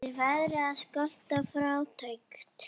Er verið að skatta fátækt?